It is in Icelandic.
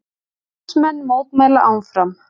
Námsmenn mótmæla áfram